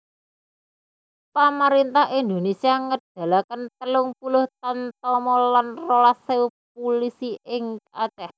Pamaréntah Indonésia ngedalaken telung puluh tamtama lan rolas ewu pulisi ing Aceh